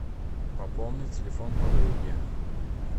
пополнить телефон подруги